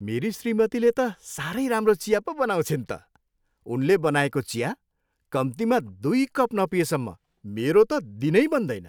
मेरी श्रीमतीले त साह्रै राम्रो चिया पो बनाउँछिन् त। उनले बनाएको चिया कम्तीमा दुई कप नपिएसम्म मेरो त दिनै बन्दैन।